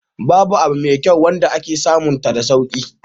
Ba abu mai kyau wanda ake samunta da sauki.